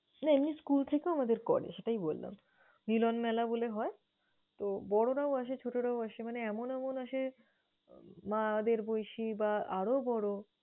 না এমনি school থেকেও আমাদের করে সেটাই বললাম। মিলন মেলা বলে হয়। তো মানে বড়রাও আসে, ছোটরাও আসে মানে এমন এমন আসে মা'দের বয়সী বা আরো বড়ো।